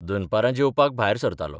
दनपरां जेवपाक भायर सरतालों.